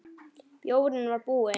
Bjórinn var búinn.